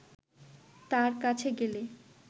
তাঁর কাছে গেলে